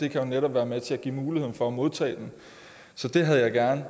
jo netop være med til at give mulighed for at modtage den så det havde jeg gerne